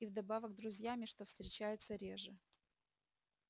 и вдобавок друзьями что встречается реже